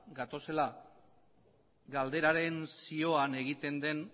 gatozela galderaren zioan egiten den